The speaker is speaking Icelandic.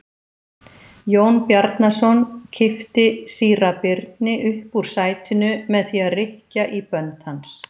Jón Bjarnason kippti síra Birni upp úr sætinu með því að rykkja í bönd hans.